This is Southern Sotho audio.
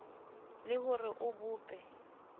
le ho re o bope